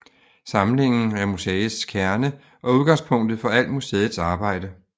Samlingen er museets kerne og udgangspunktet for al museets arbejde